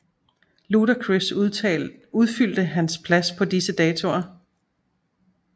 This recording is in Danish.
Ludacris udfyldte hans plads på disse datoer